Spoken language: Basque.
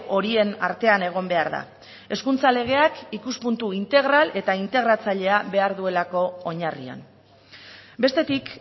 horien artean egon behar da hezkuntza legeak ikuspuntu integral eta intergratzailea behar duelako oinarrian bestetik